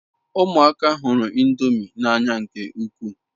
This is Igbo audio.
Umuaka huru ndomi n'anya nke ukwu